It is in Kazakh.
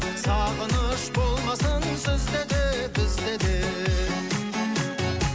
сағыныш болмасын сізде де бізде де